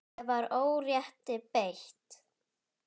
Ég var órétti beitt.